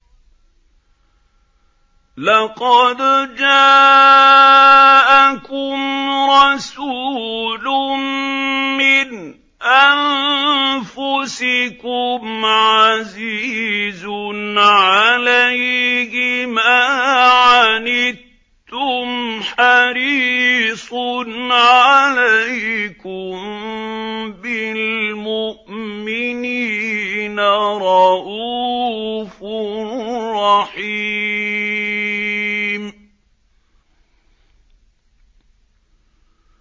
لَقَدْ جَاءَكُمْ رَسُولٌ مِّنْ أَنفُسِكُمْ عَزِيزٌ عَلَيْهِ مَا عَنِتُّمْ حَرِيصٌ عَلَيْكُم بِالْمُؤْمِنِينَ رَءُوفٌ رَّحِيمٌ